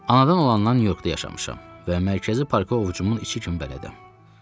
Anadan olandan Nyu-Yorkda yaşamışam və Mərkəzi parka ovcumun içi kimi bələdəm.